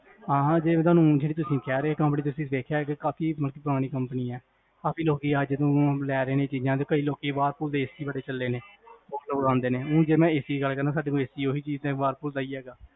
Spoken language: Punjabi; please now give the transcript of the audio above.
ਹਾਂ ਹਾਂ ਜੇ ਜੇਹੜੀ ਤੁਸੀਂ ਕੇਹਰੇ ਹੋ, ਇਹ ਕੰਪਨੀ ਚ ਵੇਖਿਆ ਹੋਏਗਾ, ਇਹ ਕਾਫੀ ਮਤਲਬ ਪੁਰਾਣੀ ਕੰਪਨੀ ਹੈ ਕਾਫੀ ਲੋਕੀ ਆ ਜਿਨੂ, ਲੈ ਰੇ ਨੇ ਚੀਜਾਂ ਤੇ ਕਈ ਲੋਕੀ ਵਹਿਰਲਪੂਲ ਦੇ AC ਬੜੇ ਲੈ ਰਹੇ ਨੇ, ਸਾਡੇ ਕੋਲ ਵੇ ਦਾਸਾ ਤਾ ਵਹਿਰਲਪੂਲ ਦਾ AC ਹੀ ਹੈ